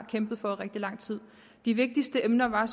har kæmpet for i rigtig lang tid de vigtigste emner var